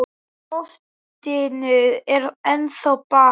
Í loftinu er ennþá ball.